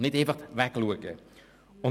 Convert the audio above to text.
Wir sollten nicht einfach wegsehen.